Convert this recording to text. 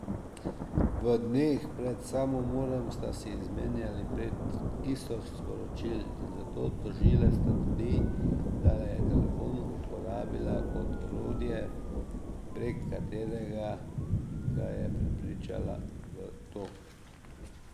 V dneh pred samomorom sta si izmenjala prek tisoč sporočil in zato tožilec trdi, da je telefon uporabila kot orodje, prek katerega ga je prepričala v to.